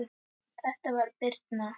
Þetta var Birna.